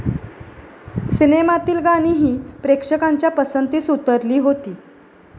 सिनेमातील गाणीही प्रेक्षकांच्या पसंतीस उतरली होती.